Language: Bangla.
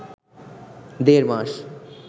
দেড় মাস